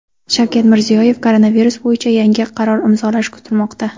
Shavkat Mirziyoyev koronavirus bo‘yicha yangi qaror imzolashi kutilmoqda.